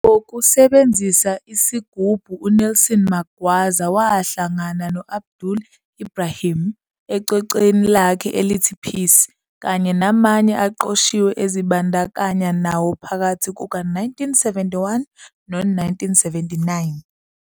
Ngokusebenzisa isigubhu uNelson Magwaza wahlangana no-Abdullah Ibrahim, ecwecweni lakhe elithi Peace kanye namanye aqoshiwe azibandakanya nawo phakathi kuka-1971 no-1979.